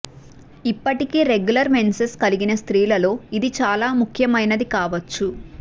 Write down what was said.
ఇప్పటికీ regular menses కలిగిన స్త్రీలలో ఇది చాలా ముఖ్యమైనది కావచ్చు